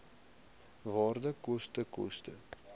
waarde koste koste